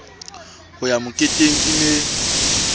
ho ya moketeng e ne